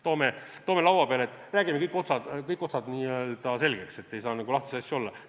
Toome selle laua peale, räägime kõik otsad selgeks, ei saa lahtisi asju olla.